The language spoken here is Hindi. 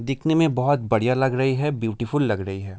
दिखने में बहोत बढ़िया लग रही है ब्यूटीफुल लग रही है।